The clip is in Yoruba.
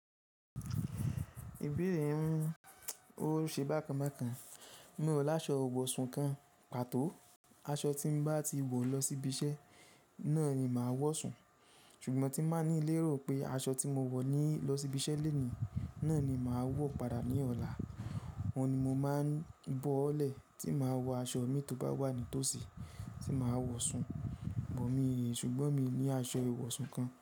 Ìbéèrè ún, ó ṣe bákan bákan. Mi ò láṣọ ìwọ̀ṣún kan, pàtó. Aṣọ tí mo bá ti wọ̀ lọ síbi iṣẹ́ náà ni màá wọ̀ sùn. Ṣùgbọ́n tí màá ní lérò pé aṣọ tí mo wọ̀ ní lọ síbi iṣẹ́ lónìí náà ni màá wọ̀ padà ní ọ̀la, ọ́un ni mo máa bọ́ ọ́ lẹ̀ tí màá wọ aṣọ mi tó bá wà nítòsí tí màá wọ̀ sun. Bọ̀ míì, ṣùgbọ́n mi ní aṣọ ìwọ̀ṣún kan.